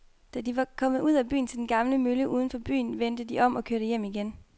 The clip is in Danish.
Da de var kommet ud til den gamle mølle uden for byen, vendte de om og kørte hjem igen.